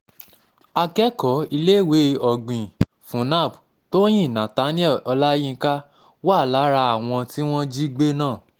akẹ́kọ̀ọ́ iléèwé ọ̀gbìn fún nab tóyìnbó nathanielle olayinka wà lára àwọn tí wọ́n jí gbé náà